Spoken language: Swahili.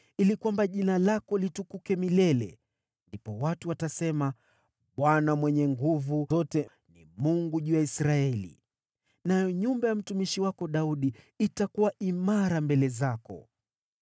ili kwamba jina lako litukuke milele. Ndipo watu watasema, ‘ Bwana Mwenye Nguvu Zote ni Mungu juu ya Israeli!’ Nayo nyumba ya mtumishi wako Daudi itakuwa imara mbele zako.